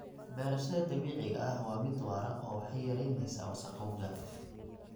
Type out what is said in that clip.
Beerashada dabiiciga ahi waa mid waara oo waxay yaraynaysaa wasakhowga.